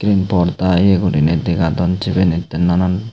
borda yeguriney degadon sibenid nanan.